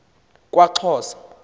kwaxhosa